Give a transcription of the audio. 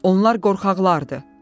Onlar qorxaqlardır.